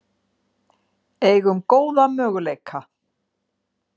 Eigum góða möguleika